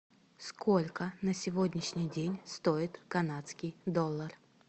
сколько на сегодняшний день стоит канадский доллар